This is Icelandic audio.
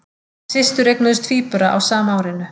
Systur eignuðust tvíbura á sama árinu